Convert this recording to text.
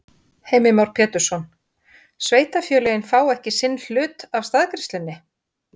Heimir Már Pétursson: Sveitarfélögin fá ekki sinn hlut af staðgreiðslunni?